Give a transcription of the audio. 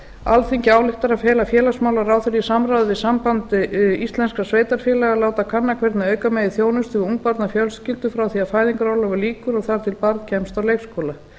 alþingi ályktar að fela félagsmálaráðherra í samráði við samband íslenskra sveitarfélaga að láta kanna hvernig auka megi þjónustu við ungbarnafjölskyldur frá því að fæðingarorlofi lýkur og þar til barn kemst á leikskóla